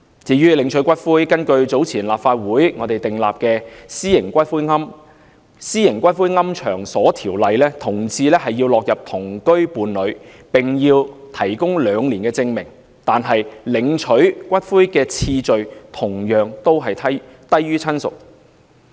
至於領取骨灰，根據早前立法會訂立的《私營骨灰安置所條例》，同志屬於同居伴侶關係，要提供兩年證明，但領回骨灰的次序同樣低於親屬。